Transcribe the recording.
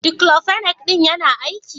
"Diclofenac " din yana aiki?